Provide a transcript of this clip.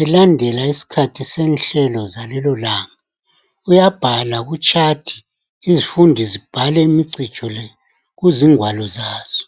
elandela isikhathi senhlelo zalelo langa uyabhala kuchati izifundi zibhale imicijo le kuzingwalo zazo